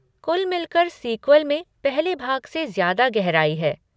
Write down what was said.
कुल मिलकर सीक्वल में पहले भाग से ज़्यादा गहराई है।